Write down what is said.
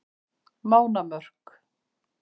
Mánamörk